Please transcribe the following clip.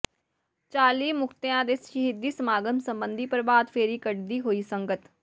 ਚਾਲੀ ਮੁਕਤਿਆਂ ਦੇ ਸ਼ਹੀਦੀ ਸਮਾਗਮ ਸਬੰਧੀ ਪ੍ਰਭਾਤ ਫੇਰੀ ਕੱਢਦੀ ਹੋਈ ਸੰਗਤ